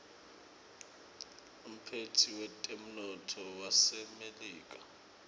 umphetsi wetemnotto wasemelika